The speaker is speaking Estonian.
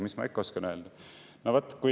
Mis ma ikka oskan öelda?